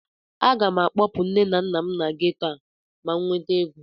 Aga m akpọpụ nne na nna m na geto a ma m nweta ego